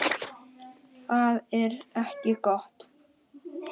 Það er ekki gott